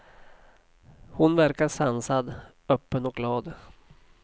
Hon verkar sansad, öppen och glad.